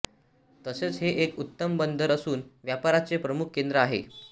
तसेच हे एक उत्तम बंदर असून व्यापाराचे प्रमुख केंद्र आहे